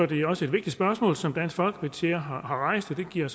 det også et vigtigt spørgsmål som dansk folkeparti har rejst og det giver